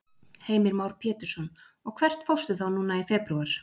Heimir Már Pétursson: Og hvert fórstu þá núna í febrúar?